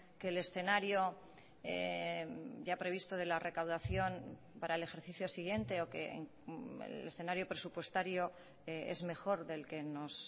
que el escenario ya previsto de la recaudación para el ejercicio siguiente o que el escenario presupuestario es mejor del que nos